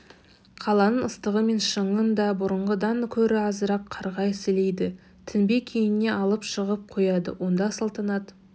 қаланың ыстығы мен шаңын да бұрынғыдан көрі азырақ қарғап-сілейді тінбек үйіне алып шығып қояды онда салтанат